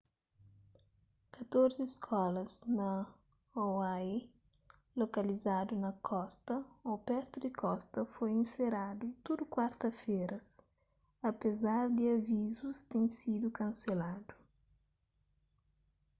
katorzi skolas na hawaii lokalizadu na kosta ô pertu di kosta foi inseradu tudu kuarta-feras apezar di avizus ten sidu kanseladu